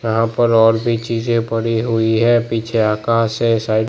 यहां पर और भी चीजें पड़ी हुई है पीछे आकाश है साइड --